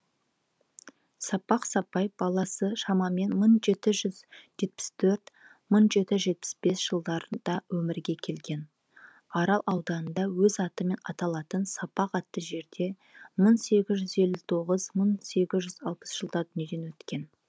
сапақ сапай баласы шамамен мың жеті жүз жетпіс төрт мың жеті жүз жетпіс бес жылдарында өмірге келген арал ауданында өз атымен аталатын сапақ атты жерде мың сегіз жүз елу тоғыз мың сегіз жүз алпыс жылдары дүниеден өткен